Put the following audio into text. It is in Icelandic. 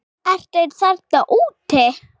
Ertu einn þarna úti?